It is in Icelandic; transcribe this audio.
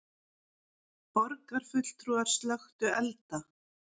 Borgarfulltrúar slökktu elda